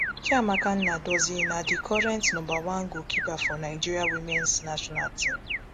chiamaka nnadozie na di current number one goalkeeper for nigeria womens national team